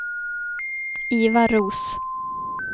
Ivar Roos